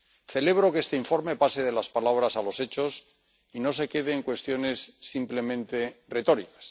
Celebro que este informe pase de las palabras a los hechos y no se quede en cuestiones simplemente retóricas.